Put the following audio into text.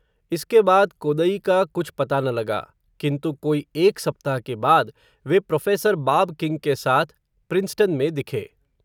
इसके बाद, कोदई का कुछ पता न लगा, किन्तु कोई एक सप्ताह के बाद, वे प्रोफ़ेसर बाब किंग के साथ, प्रिंसटन में दिखे,